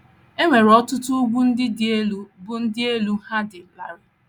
E nwere ọtụtụ ugwu ndị dị elu bụ́ ndị elu ha dị larịị.